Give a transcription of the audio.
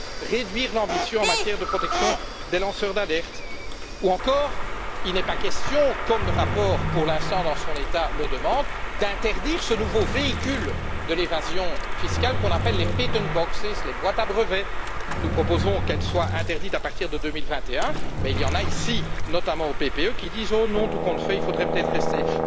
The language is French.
Il faut réduire l'ambition en matière de protection des lanceurs d'alerte, ou encore, il n'est pas question, comme le rapport le demande en l'état actuel, d'interdire ce nouveau véhicule de l'évasion fiscale qu'on appelle les patent boxes ou les boîtes à brevets. Nous proposons qu'elles soient interdites à partir de 2021, mais il y en a ici, notamment au PPE, qui disent Oh non, tout compte fait, il faudrait peut être les laisser.